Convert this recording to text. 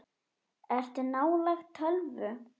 Ertu nálægt tölvu?